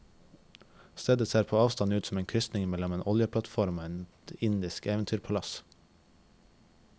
Stedet ser på avstand ut som en krysning mellom en oljeplattform og et indisk eventyrpalass.